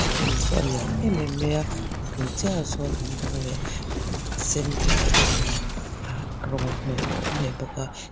saw in saw a lian em em mai a a bul chiahah sawn in dang leh ih a sen leh a engin ahh rawng an hnawih a awm leh bawk a.